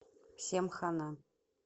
всем хана